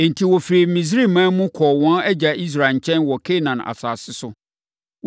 Enti, wɔfirii Misraiman mu kɔɔ wɔn agya Israel nkyɛn wɔ Kanaan asase so.